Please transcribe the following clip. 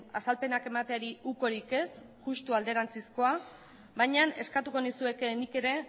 azalpenak emateari ukorik ez justu alderantzizkoa baina eskatuko nizueke nik ere